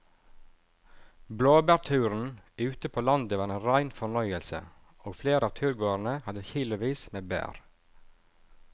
Blåbærturen ute på landet var en rein fornøyelse og flere av turgåerene hadde kilosvis med bær.